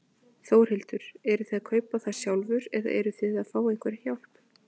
Þórhildur: Eruð þið að kaupa það sjálfur eða eruð þið að fá einhverja hjálp?